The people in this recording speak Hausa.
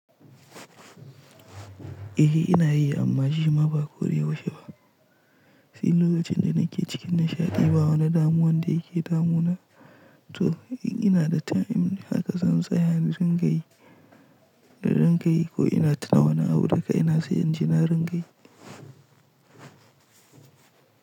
E, ina yi amma shi ma ba koda yaushe ba. Sai lokacin da nake cikin nishaɗi ba wani damuwan da yake damuwa. To in ina da time haka zan tsaya in ringa yi, in ringa yi ko ina tuna wani abu da kaina sai inji na ringa yi.